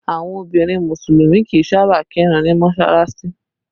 Àwọn obìnrin musulumi kì í sáábà kirun ni mọsalasi